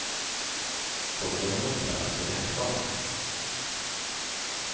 Då blev hon uppkallad till rektorn.